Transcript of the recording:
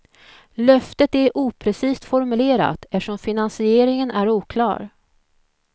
Löftet är oprecist formulerat eftersom finansieringen är oklar.